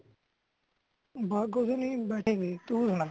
ਬਸ ਕੁੱਛ ਨਹੀਂ ਬੈਠੇ ਸੀ ਤੁਹ ਸੁਣਾ